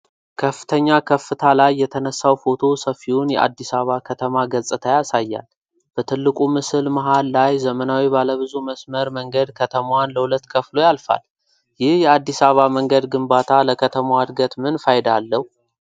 ከፍተኛ ከፍታ ላይ የተነሳው ፎቶ ሰፊውን የአዲስ አበባ ከተማ ገጽታ ያሳያል። በትልቁ ምስል መሃል ላይ ዘመናዊ ባለ ብዙ መስመር መንገድ ከተማዋን ለሁለት ከፍሎ ያልፋል። ይህ የአዲስ አበባ መንገድ ግንባታ ለከተማዋ ዕድገት ምን ፋይዳ አለው?